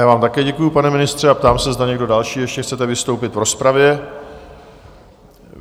Já vám také děkuju, pane ministře, a ptám se, zda někdo další ještě chcete vystoupit v rozpravě?